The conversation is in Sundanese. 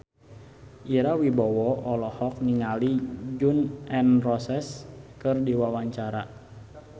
Ira Wibowo olohok ningali Gun N Roses keur diwawancara